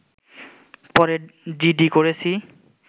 পরে জিডি করেছি